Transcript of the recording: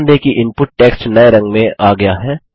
ध्यान दें कि इनपुट टेक्स्ट नये रंग में आ गया है